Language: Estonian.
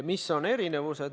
Mis on erinevused?